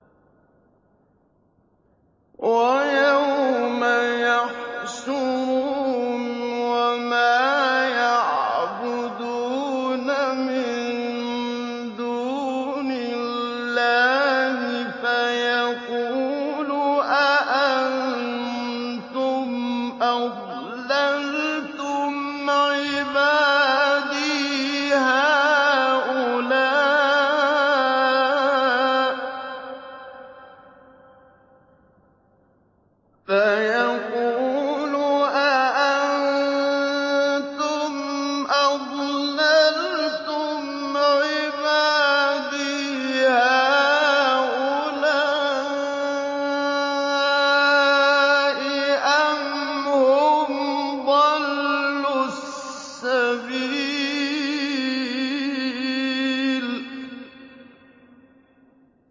وَيَوْمَ يَحْشُرُهُمْ وَمَا يَعْبُدُونَ مِن دُونِ اللَّهِ فَيَقُولُ أَأَنتُمْ أَضْلَلْتُمْ عِبَادِي هَٰؤُلَاءِ أَمْ هُمْ ضَلُّوا السَّبِيلَ